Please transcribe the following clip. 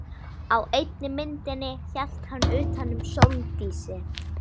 Á einni myndinni hélt hann utan um Sóldísi.